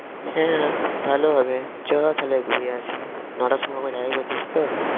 হ্যাঁ ভালো হবে চ তাহলে ঘুরে আসি নটার সময় ওখানে যাবি বলছিসতো?